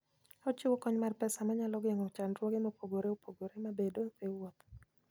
Ochiwo kony mar pesa manyalo geng'o chandruoge mopogore opogore mabedoe e wuoth.